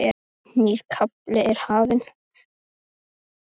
Nýr kafli er hafinn.